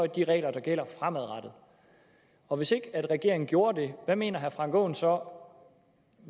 de regler der gælder fremadrettet og hvis ikke regeringen gjorde det hvad mener herre frank aaen så